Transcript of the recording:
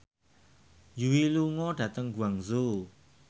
Yui lunga dhateng Guangzhou